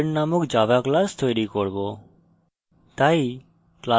আমরা এখন student named java class তৈরী করব